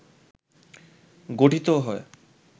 গঠিত হয়